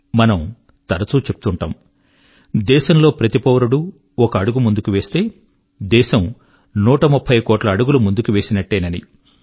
మనం తరచూ చెప్తుంటాం దేశం లో ప్రతి పౌరుడు ఒక అడుగు ముందుకు వేస్తే దేశం నూట ముప్పై కోట్ల అడుగులు ముందుకు వేసినట్టేనని